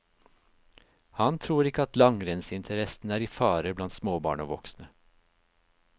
Han tror ikke at langrennsinteressen er i fare blant småbarn og voksne.